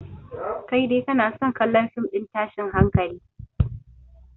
Kai dai kana son kallon fim ɗin tashin hankali